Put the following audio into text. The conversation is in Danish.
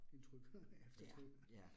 Trygheden er eftertrykkelig